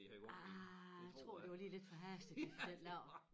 Ah jeg tror det var lige lidt forhastet de fik den lavet